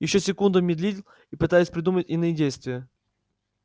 ещё секунду медлил пытаясь придумать иные действия